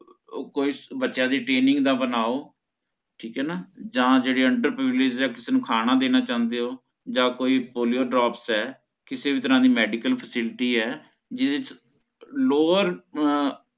ਕੋਈ ਬਚੇਆ ਦੀ training ਦਾ ਬਣਾਓ ਠੀਕ ਹੈ ਨਾ ਜਹਾਂ ਜੇਹੜੀ under privilege ਹੈ ਕਿਸੇ ਨੂੰ ਖਾਨਾ ਦੇਣਾ ਚਹੰਦੇ ਹੋ ਯ polio drops ਹੈ ਕਿਸੇ ਵੀ ਤਰਹ ਦੀ medical facility ਹੈ ਜਿਹਦੇ ਚ lower ਅਹ